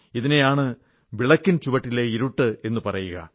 ഇതിനെയാണ് വിളക്കിൻ ചുവട്ടിലെ ഇരുട്ട് എന്നു പറയുക